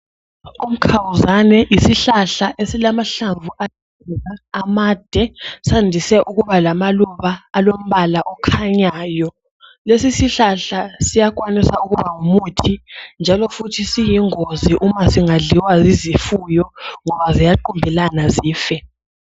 Umkhawuzane yisihlahla esilamahlamvu aluhlaza amade, Sandise ukuba lamaluba alombala okhanyayo. Lesisihlahla siyakwanisa ukuba ngumuthi njalo futhi siyingozi uma singadliwa yizifuyo ngoba ziyaqumbelana zife.